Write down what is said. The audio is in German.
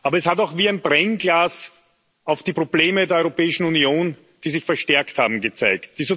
Aber es hat auch wie ein Brennglas auf die Probleme der Europäischen Union, die sich verstärkt haben, gezeigt.